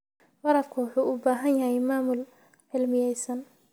Waraabku wuxuu u baahan yahay maamul cilmiyaysan.